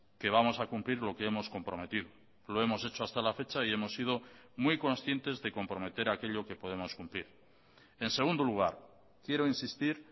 que vamos a cumplir lo que hemos comprometido lo hemos hecho hasta la fecha y hemos sido muy conscientes de comprometer aquello que podemos cumplir en segundo lugar quiero insistir